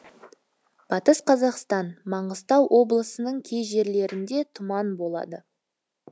батыс қазақстан маңғыстау облысының кей жерлерінде тұман болады